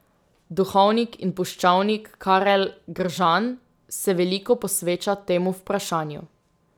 Duhovnik in puščavnik Karel Gržan se veliko posveča temu vprašanju.